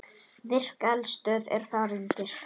Virk eldstöð er þar undir.